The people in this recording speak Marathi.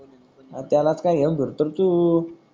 त्याला च का घेऊन फिरतो रे तू